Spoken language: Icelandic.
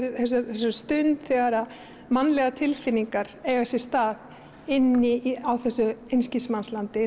þessari stund þegar mannlegar tilfinningar eiga sér stað inn á þessu einskismannslandi